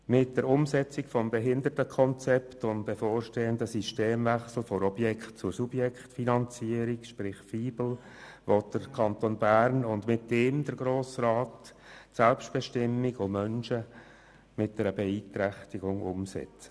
Mit der Umsetzung des Behindertenkonzepts und dem bevorstehenden Systemwechsel von der Objekt- zur Subjektfinanzierung sprich VIBEL will der Kanton Bern und mit ihm der Grosse Rat die Selbstbestimmung von Menschen mit einer Beeinträchtigung umsetzen.